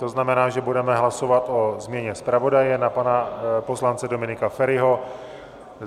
To znamená, že budeme hlasovat o změně zpravodaje na pana poslance Dominika Feriho.